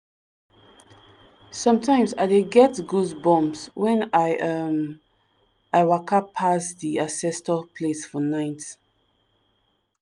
sometimes i dey get goosebumps when um i waka pass di ancestor place for night.